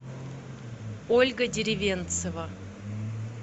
ольга деревенцева